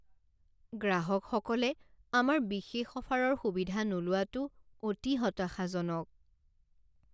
গ্ৰাহকসকলে আমাৰ বিশেষ অফাৰৰ সুবিধা নোলোৱাটো অতি হতাশাজনক।